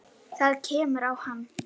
Það kemur á hann.